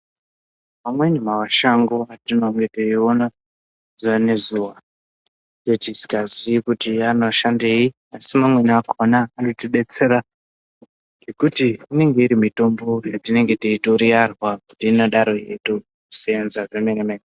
Amweni mashango etinenge teiona zuwa nezuwa etisikazii kuti anoshandei asi mamwe akhona anotidetsera nekuti inenge itori mitombo yatinenge teitoriyarwa kuti ingadaro yeito senza zvemene mene.